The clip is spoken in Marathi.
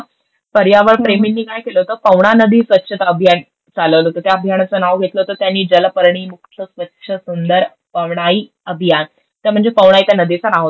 पर्यावरणप्रेमींनी काय केलं होतं, पवना नदी स्वच्छता अभियान चलवलं होतं. त्या अभियाणाचं नाव घेतलं होतं त्यांनी जलपर्णीमुक्त स्वच्छ सुंदर पवनाई अभियान. ते म्हणजे पवनाई त्या नदीचं नाव होतं.